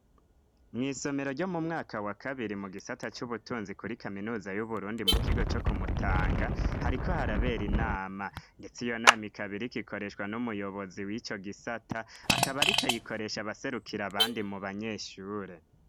mw' isomero ryo mumwaka wa kabiri mu gisata c'ubutunzi kuri kaminuza y'uburundi mukigo co kumutanga hariko harabera inama ndetse iyonami kabiri kikoreshwa n'umuyobozi w'ico gisata akaba arikayikoresha baserukira abandi mu banyeshure